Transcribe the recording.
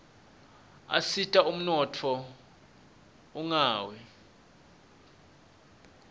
asita ummotfo unqawi